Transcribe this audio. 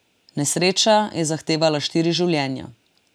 Nesreča je zahtevala štiri življenja.